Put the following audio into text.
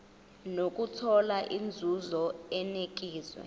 nokuthola inzuzo enikezwa